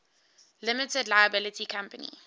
limited liability company